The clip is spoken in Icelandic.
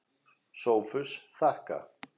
SOPHUS: Þakka.